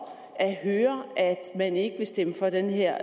at høre at man ikke vil stemme for den her